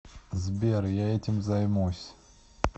сбер я этим займусь